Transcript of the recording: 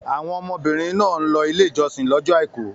Àwọn ọmọbìnrin náà ń lọ Ilé-ìjọsìn lọ́jọ́ àìkú.